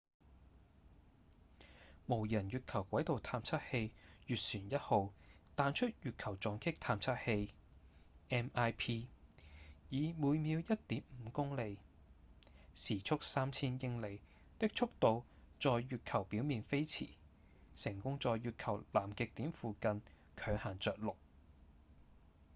無人月球軌道探測器月船1號彈出月球撞擊探測器 mip 以每秒 1.5 公里時速3000英里的速度在月球表面飛馳成功在月球南極點附近強行著陸